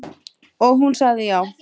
Og hún sagði já.